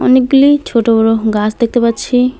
অনেকগুলি ছোট বড়ো গাছ দেখতে পাচ্ছি।